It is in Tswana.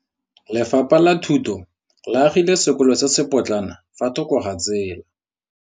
Lefapha la Thuto le agile sekôlô se se pôtlana fa thoko ga tsela.